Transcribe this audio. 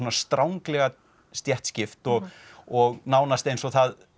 stranglega stéttskipt og og nánast eins og það